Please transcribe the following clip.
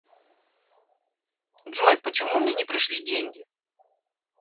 джой почему мне не пришли деньги